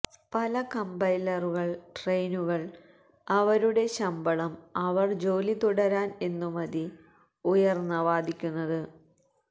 പല കമ്പൈലറുകൾ ട്രെയിനുകൾ അവരുടെ ശമ്പളം അവർ ജോലി തുടരാൻ എന്നു മതി ഉയർന്ന വാദിക്കുന്നത്